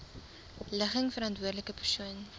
ligging verantwoordelike persoon